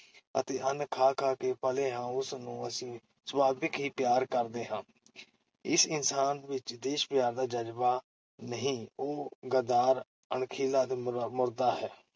ਅਤੇ ਅੰਨ ਖਾ-ਖਾ ਕੇ ਪਲੇ ਹਾਂ, ਉਸ ਨੂੰ ਅਸੀਂ ਸੁਭਾਵਕ ਹੀ ਪਿਆਰ ਕਰਦੇ ਹਾਂ । ਜਿਸ ਇਨਸਾਨ ਵਿਚ ਦੇਸ਼-ਪਿਆਰ ਦਾ ਜਜ਼ਬਾ ਨਹੀਂ, ਉਹ ਗੱਦਾਰ, ਅਣਖਹੀਏ ਅਤੇ ਮੁਰ ਮੁਰਦਾ ਹੈ।